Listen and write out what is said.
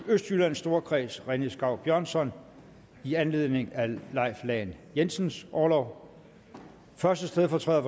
østjyllands storkreds rené skau bjørnsson i anledning af leif lahn jensens orlov første stedfortræder